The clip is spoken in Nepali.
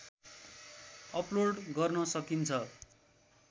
अपलोड गर्न सकिन्छ